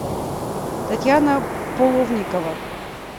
татьяна половникова